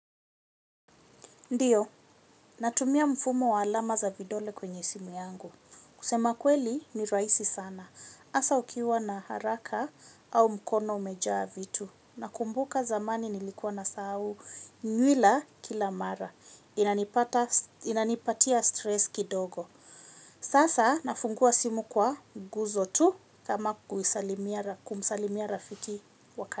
Ndio, natumia mfumo wa alama za vidole kwenye simu yangu. Kusema kweli ni rahisi sana. Hasa ukiwa na haraka au mkono umejaa vitu. Na kumbuka zamani nilikuwa na sahau nywila kila mara. Inanipatia stress kidogo. Sasa nafungua simu kwa guzo tu kama kumsalimia rafiki.